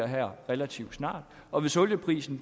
her relativt snart og hvis olieprisen